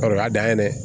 O y'a dan ye dɛ